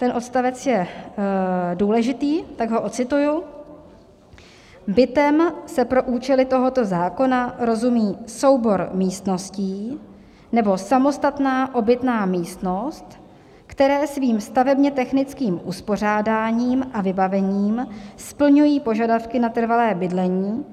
Ten odstavec je důležitý, tak ho ocituji: "Bytem se pro účely tohoto zákona rozumí soubor místností nebo samostatná obytná místnost, které svým stavebně technickým uspořádáním a vybavením splňují požadavky na trvalé bydlení